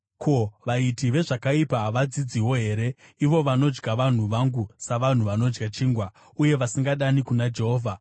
Ko, vaiti vezvakaipa havadzidziwo here, ivo vanodya vanhu vangu savanhu vanodya chingwa, uye vasingadani kuna Jehovha?